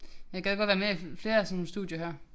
Jeg gad godt være med i flere af sådan nogle studier her